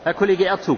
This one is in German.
Herr